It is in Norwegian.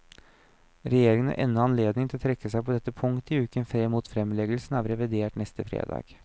Regjeringen har ennå anledning til å trekke seg på dette punktet i uken frem mot fremleggelsen av revidert neste fredag.